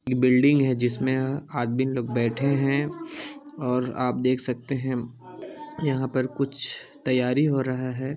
ये बिल्डिंग है जिसमें आदमी लोग बैठे हैं और आप देख सकते हैं यहां पर कुछ तैयारी हो रहा--